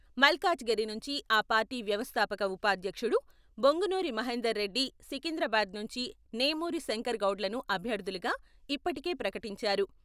మల్కాజిగిరి నుంచి ఆ పార్టీ వ్యవస్థాపక ఉపాధ్యక్షుడు బొంగునూరి మహేందర్రెడ్డి సికింద్రాబాద్ నుంచి నేమూరి శంకర్ గౌడ్‌లను అభ్యర్థులుగా ఇప్పటికే ప్రకటించారు.